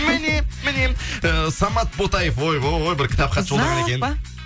міне міне э самат ботаев ойбой бір кітапқа ұзақ па